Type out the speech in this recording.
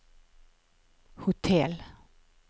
hotell